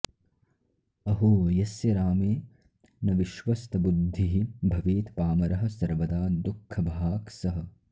अहो यस्य रामे न विश्वस्तबुद्धिः भवेत् पामरः सर्वदा दुःखभाक् सः